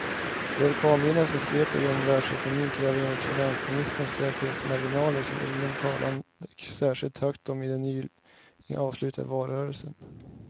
De orkanvindar som sveper genom världsekonomin kräver enligt finansministern säkerhetsmarginaler som ingen talade särskilt högt om i den nyligen avslutade valrörelsen.